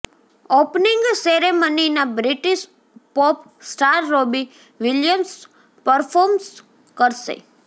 opening સેરેમનીમાં British pop star Robbie Williams perform કરશે